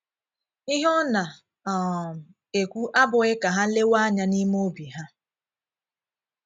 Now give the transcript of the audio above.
Ihe ọ̀ na - um ekwù abụghị ka ha léewe anya n’ìme obi ha.